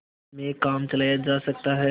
में काम चलाया जा सकता है